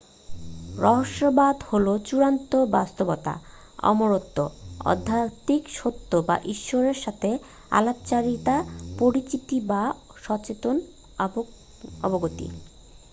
রহস্যবাদ হল চূড়ান্ত বাস্তবতা অমরত্ব আধ্যাত্মিক সত্য বা ঈশ্বরের সাথে আলাপচারিতা পরিচিতি বা সচেতন অবগতি